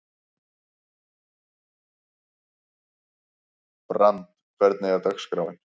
Brandr, hvernig er dagskráin?